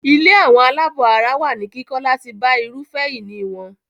Ilé àwọn àlábọ̀ ara wà ní kíkọ́ láti bá irúfẹ́ ìní wọn.